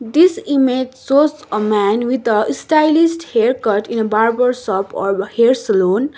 this image shows a man with a stylist haircut in a barber shop or hair salon.